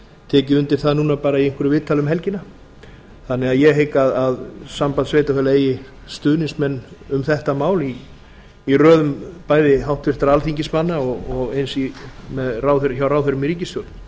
tekið undir það núna bara í einhverju viðtali um helgina þannig að ég hygg að samband sveitarfélaga eigi stuðningsmenn um þetta mál í röðum bæði háttvirtra alþingismanna og eins hjá ráðherrum í ríkisstjórn ég held